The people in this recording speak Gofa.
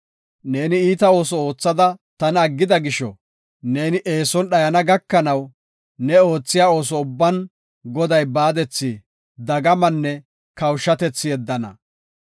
Neeni iita ooso oothada tana aggida gisho, neeni eeson dhayana gakanaw ne oothiya ooso ubban Goday baadethi, dagamanne kawushatethi yeddana.